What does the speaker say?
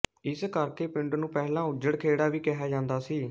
ਇਸ ਕਰਕੇ ਪਿੰਡ ਨੂੰ ਪਹਿਲਾਂ ਉੱਜੜ ਖੇੜਾ ਵੀ ਕਿਹਾ ਜਾਂਦਾ ਸੀ